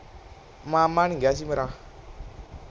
ਮਾਮਾ ਨੀ ਗਿਆ ਸੀ ਮੇਰਾ